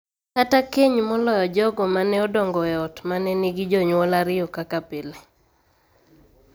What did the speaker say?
Kata keny moloyo jogo ma ne odongo e ot ma ne nigi jonyuol ariyo kaka pile.